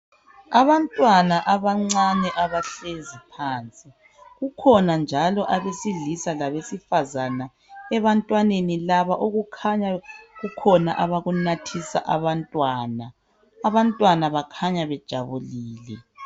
Abantwana abancane abahlezi phansi kukhona njalo abrsilisa labe sifazane ebantwini laba kukhona okukhanya bekunathisa abantwana, abantwana bakhanya bejabulile